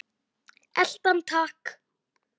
Elta hann takk!